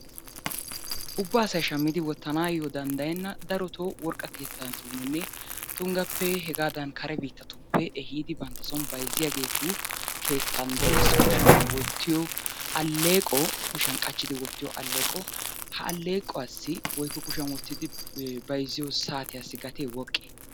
Ubba asay shammidi wottanaayyo danddayenna darotoo worqqa keettatuuninne tunggappe hegaadan kare biittatuppe ehiidi banttason bayizziyageetu keettan de'es. Kushiyan wottiyo alleqo kushiyan qachchidi wottiyo alleeqo. Ha alleequwassi woykko kushiyan wottidi bayizziyo saatiyassi gate woqqe?